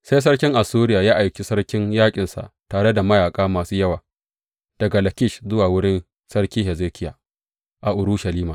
Sai sarkin Assuriya ya aiki sarkin yaƙinsa tare da mayaƙa masu yawa daga Lakish zuwa wurin Sarki Hezekiya a Urushalima.